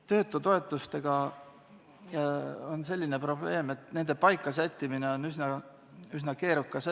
Töötutoetustega on selline probleem, et nende paika sättimine on üsna keerukas asi.